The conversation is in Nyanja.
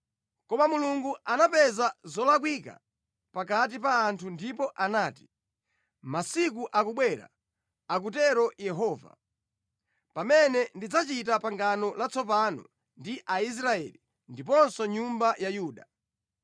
Koma Mulungu anapeza zolakwika pakati pa anthu ndipo anati, “Masiku akubwera,” akutero Yehova, “pamene ndidzachita pangano latsopano ndi Aisraeli ndiponso nyumba ya Yuda.